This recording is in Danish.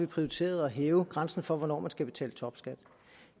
prioriteret at hæve grænsen for hvornår man skal betale topskat